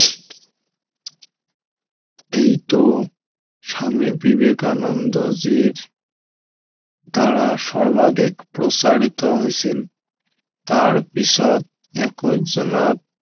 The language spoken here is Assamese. এইটো স্বামী বিবেকানন্দ জীৰ দ্বাৰা সৰ্বাধিক প্ৰচাৰিত হৈছিল তাৰ পিছত একৈশ জোনত